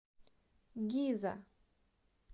гиза